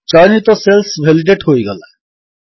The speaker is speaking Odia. ଚୟନିତ ସେଲ୍ସ ଭେଲିଡେଟ୍ ହୋଇଗଲା160